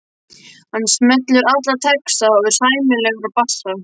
Hann semur alla texta og er sæmilegur á bassa.